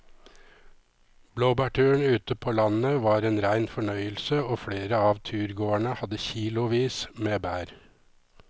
Blåbærturen ute på landet var en rein fornøyelse og flere av turgåerene hadde kilosvis med bær.